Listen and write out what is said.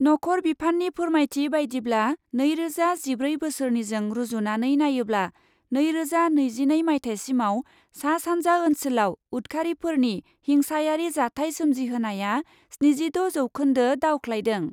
नखर बिफाननि फोरमायथि बायदिब्ला, नैरोजा जिब्रै बोसोरनिजों रुजुनानै नायोब्ला, नैरोजा नैजिनै माइथायसिमाव सा सान्जा ओन्सोलाव उतखारिफोरनि हिंसायारि जाथाय सोमजिहोनाया स्निजिद' जौखोन्दो दावख्लायदों ।